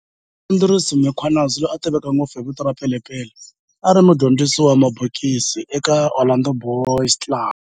Andries Mkhwanazi, loyi a tiveka ngopfu hi vito ra"Pele Pele", a ri mudyondzisi wa mabokisi eka Orlando Boys Club